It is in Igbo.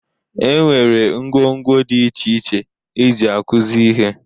E nwere ngwo ngwo dị iche iche eji akụzi ihe.